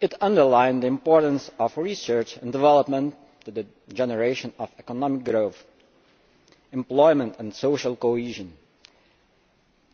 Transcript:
It underlined the importance of research and development to the generation of economic growth, employment and social cohesion,